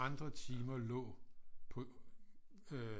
Andre timer lå på øh